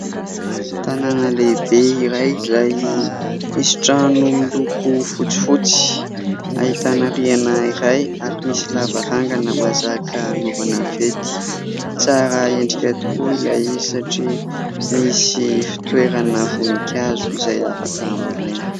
Tanàna lehibe iray izay misy trano miloko fotsifotsy ahitana rihana iray ary misy lavarangana mahazaka hanovana fety. Tsara endrika tokoa ilay izy satria misy fitoerana voninkazo izay afaka hambolena.